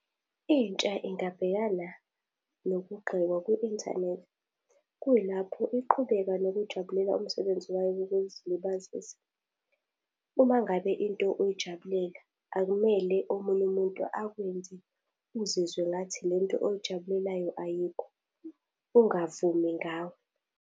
Intsha ingabhekana nokugqekwa ku-inthanethi. Kuyilapho iqhubeka nokujabulela umsebenzi wayo wokuzilibazisa. Uma ngabe into uyijabulela, akumele omunye umuntu akwenze uzizwe ngathi lento oyijabulelayo ayikho. Ungavumi ngawe.